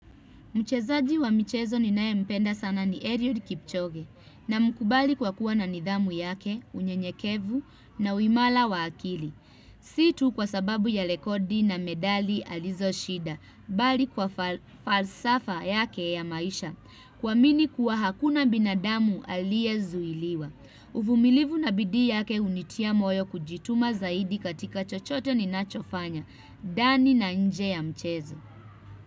Mchezaji wa michezo ninaye mpenda sana ni Eliud Kipchoge namkubali kwa kuwa na nidhamu yake, unyenyekevu na uimara wa akili. Si tu kwa sababu ya rekodi na medali alizo shinda, bali kwa falsafa yake ya maisha, kuamini kuwa hakuna binadamu aliye zuiliwa. Uvumilivu na bidii yake hunitia moyo kujituma zaidi katika chochote ninachofanya, ndani na nje ya mchezo.